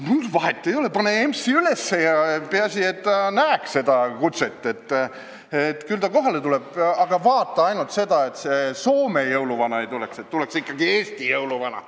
" Ma ütlesin, et vahet ei ole, pane EMS-i üles, peaasi, et ta näeks seda kutset, küll ta kohale tuleb, aga vaata ainult, et see Soome jõuluvana ei tuleks, et tuleks ikkagi Eesti jõuluvana.